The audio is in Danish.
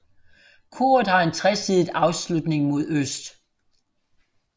Koret har en tresidet afslutning mod øst